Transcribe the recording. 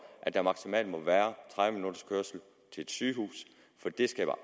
at der maksimalt må være tredive minutters kørsel til et sygehus for det skaber